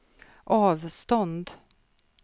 avstånd